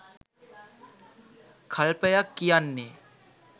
කල්පයක් කියන්නේ.